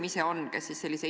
Läheme kolmanda küsimuse juurde.